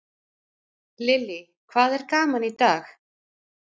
Lillý: Hvað er gaman í dag?